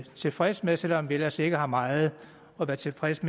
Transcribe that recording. tilfredse med selv om vi ellers ikke har meget at være tilfredse